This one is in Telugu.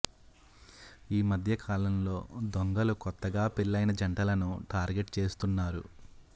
ఈ మధ్య కాలంలో దొంగలు కొత్తగా పెళ్లైన జంటలను టార్గెట్ చేస్తున్నారు